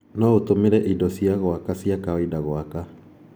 Noũtũmire indo cia gwaka cia kawaida gwaka.